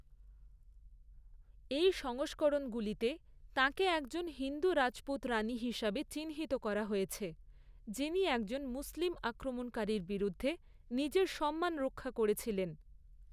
এই সংস্করণগুলিতে, তাঁকে একজন হিন্দু রাজপুত রানী হিসাবে চিহ্নিত করা হয়েছে, যিনি একজন মুসলিম আক্রমণকারীর বিরুদ্ধে নিজের সম্মান রক্ষা করেছিলেন।